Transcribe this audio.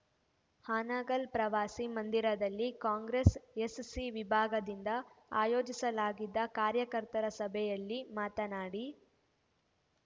ಹಾನಗಲ್‌ ಪ್ರವಾಸಿ ಮಂದಿರದಲ್ಲಿ ಕಾಂಗ್ರೆಸ್‌ ಎಸ್‌ಸಿ ವಿಭಾಗದಿಂದ ಆಯೋಜಿಸಲಾಗಿದ್ದ ಕಾರ್ಯಕರ್ತರ ಸಭೆಯಲ್ಲಿ ಮಾತನಾಡಿ